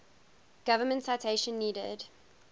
government citation needed